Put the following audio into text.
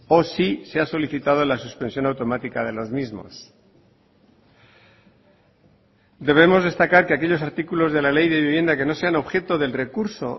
o si se ha solicitado la suspensión automática de los mismos debemos destacar que aquellos artículos de la ley de vivienda que no sean objeto del recurso